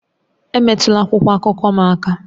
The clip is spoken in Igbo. Emetụla akwụkwọ akụkọ m aka!